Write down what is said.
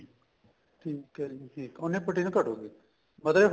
ਠੀਕ ਏ ਜੀ ਠੀਕ ਏ ਉੰਨੀ protein ਘੱਟੂਗੀ ਮਤਲਬ